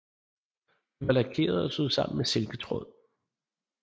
De var lakerede og syet sammen med silketråd